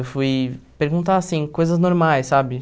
Eu fui perguntar, assim, coisas normais, sabe?